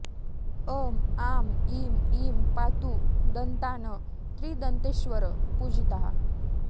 अं आं इं ईं पातु दन्तान् त्रिदन्तेश्वर पूजिताः